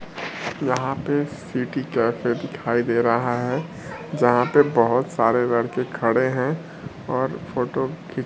यहां पे city cafe दिखाई दे रहा है जहां पे बहोत सारे लड़के खड़े हैं और फोटो खी --